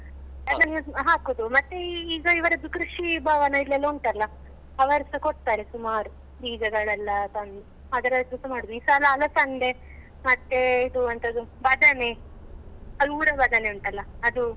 ಹಾಕುದು ಮತ್ತೆ ಈ ಈಗ ಇವರದ್ದು ಕೃಷಿ ಭವನ ಇಲ್ಲಿ ಎಲ್ಲ ಉಂಟಲ್ಲ ಅವರುಸ ಕೊಡ್ತಾರೆ ಸುಮಾರು ಬೀಜಗಳೆಲ್ಲಾ ತಂದು ಅದರದ್ದುಸ ಮಾಡುದು ಈ ಸಲ ಅಲಸಂಡೆ ಮತ್ತೇ ಇದು ಎಂತದು ಬದನೆ ಅದು ಊರ ಬದನೆ ಉಂಟಲ್ಲ ಅದು.